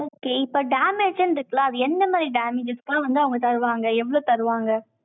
okay இப்ப damage ன்னு இருக்குல்ல, அது எந்த மாதிரி damages எல்லாம் வந்து, அவங்க தருவாங்க, எவ்வளவு தருவாங்க?